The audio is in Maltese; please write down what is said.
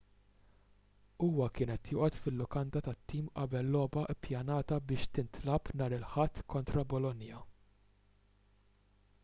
huwa kien qed joqgħod fil-lukanda tat-tim qabel logħba ppjanata biex tintlagħab nhar il-ħadd kontra bolonia